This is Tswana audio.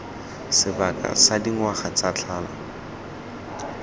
sebaka sa dingwaga tse tlhano